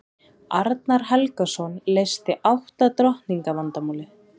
arnar helgason leysti átta drottninga vandamálið